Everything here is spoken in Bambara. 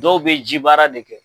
Dɔw bɛ ji baara de kɛ.